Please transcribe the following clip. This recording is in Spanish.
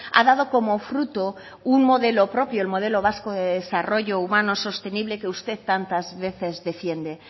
ha dado como fruto un modelo propio el modelo vasco de desarrollo humano sostenible que usted tantas veces defiende